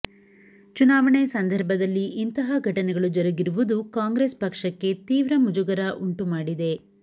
ಚುನಾವಣೆ ಸಂದರ್ಭದಲ್ಲಿ ಇಂತಹ ಘಟನೆಗಳು ಜರುಗಿರುವುದು ಕಾಂಗ್ರೆಸ್ ಪಕ್ಷಕ್ಕೆ ತೀವ್ರ ಮುಜುಗರ ಉಂಟುಮಾಡಿದೆ